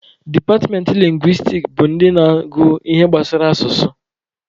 Departmentị lingwistiks bụ ndị na-agụ ihe gbasara asụsụ.